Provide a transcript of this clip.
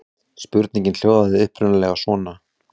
Spurningin hljóðaði upprunalega svona: